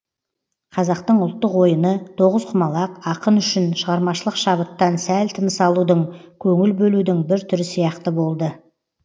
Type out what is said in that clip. қазақтың ұлттық ойыны тоғызқұмалақ ақын үшін шығармашылық шабыттан сәл тыныс алудың көңіл бөлудің бір түрі сияқты болды